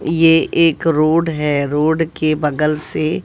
ये एक रोड है रोड के बगल से--